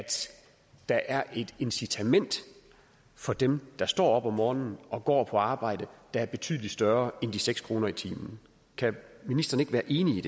der er et incitament for dem der står op om morgenen og går på arbejde der er betydelig større end de seks kroner i timen kan ministeren ikke være enig